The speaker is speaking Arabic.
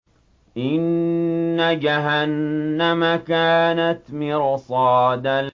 إِنَّ جَهَنَّمَ كَانَتْ مِرْصَادًا